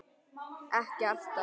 Ekki alltaf.